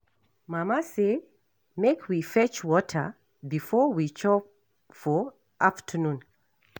Mama say make we fetch water before we chop for afternoon